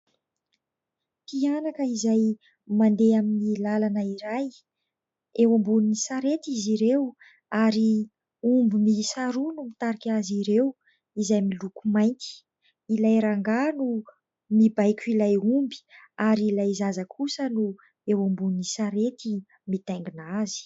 Mpianaka izay mandeha amin'ny lalana iray eo ambonin'ny sarety izy ireo ary omby miisa roa no mitarika azy ireo izay miloko mainty. Ilay rangahy no mibaiko ilay omby ary ilay zaza kosa no eo ambony sarety mitaingina azy.